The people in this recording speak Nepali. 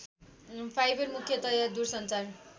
फाइबर मुख्यतया दूरसञ्चार